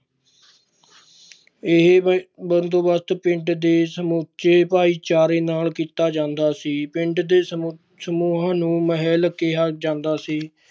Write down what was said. ਇਹ ਬ~ ਬੰਦੋਬਸਤ ਪਿੰਡ ਦੇ ਸਮੁੱਚੇ ਭਾਈਚਾਰੇ ਨਾਲ ਕੀਤਾ ਜਾਂਦਾ ਸੀ ਪਿੰਡ ਦੇ ਸਮੁ~ ਸਮੂਹਾਂ ਨੂੰ ਮਹਿਲ ਕਿਹਾ ਜਾਂਦਾ ਸੀ।